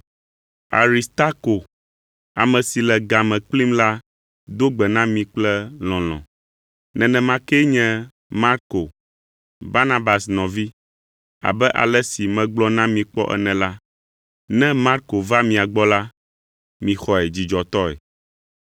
Aristako, ame si le ga me kplim la do gbe na mi kple lɔlɔ̃; nenema kee nye Marko, Barnabas nɔvi. (Abe ale si megblɔ na mi kpɔ ene la, ne Marko va mia gbɔ la, mixɔe dzidzɔtɔe.)